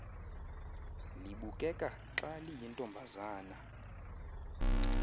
libukeka xa liyintombazana